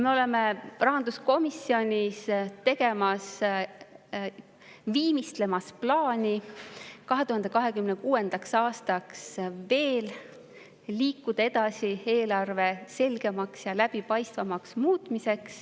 Me oleme rahanduskomisjonis viimistlemas plaani liikuda edasi 2026. aasta eelarve selgemaks ja läbipaistvamaks muutmisega.